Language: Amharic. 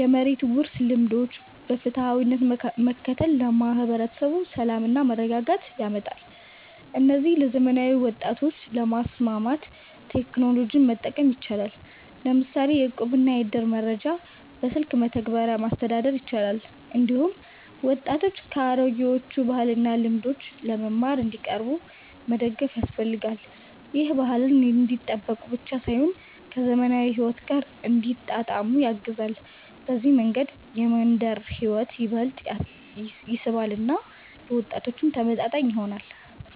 የመሬት ውርስ ልምዶችን በፍትሃዊነት መከተል ለማህበረሰብ ሰላምና መረጋጋት ያመጣል። እነዚህን ለዘመናዊ ወጣቶች ለማስማማት ቴክኖሎጂን መጠቀም ይቻላል፤ ለምሳሌ የእቁብና የእድር መረጃ በስልክ መተግበሪያዎች ማስተዳደር ይቻላል። እንዲሁም ወጣቶች ከአሮጌዎቹ ባህልና ልምዶች ለመማር እንዲቀርቡ መደገፍ ያስፈልጋል። ይህ ባህልን እንዲጠብቁ ብቻ ሳይሆን ከዘመናዊ ሕይወት ጋር እንዲያጣጣሙት ያግዛል። በዚህ መንገድ የመንደር ሕይወት ይበልጥ ይስባል እና ለወጣቶችም ተመጣጣኝ ይሆናል።